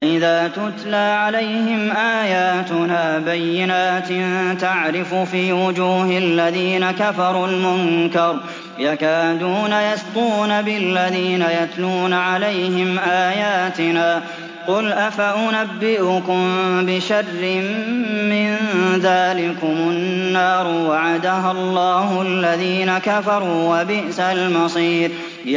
وَإِذَا تُتْلَىٰ عَلَيْهِمْ آيَاتُنَا بَيِّنَاتٍ تَعْرِفُ فِي وُجُوهِ الَّذِينَ كَفَرُوا الْمُنكَرَ ۖ يَكَادُونَ يَسْطُونَ بِالَّذِينَ يَتْلُونَ عَلَيْهِمْ آيَاتِنَا ۗ قُلْ أَفَأُنَبِّئُكُم بِشَرٍّ مِّن ذَٰلِكُمُ ۗ النَّارُ وَعَدَهَا اللَّهُ الَّذِينَ كَفَرُوا ۖ وَبِئْسَ الْمَصِيرُ